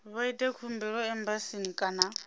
vha ite khumbelo embasini kana